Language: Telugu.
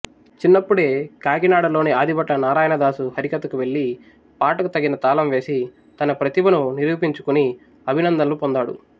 చిన్నప్పుడే కాకినాడలోని ఆదిభట్ల నారాయణదాసు హరికథకు వెళ్లి పాటకు తగిన తాళం వేసి తన ప్రతిభను నిరూపించుకుని అభినందనలు పొందాడు